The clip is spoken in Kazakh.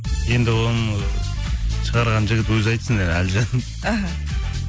енді оны шығарған жігіт өзі айтсын әлжан іхі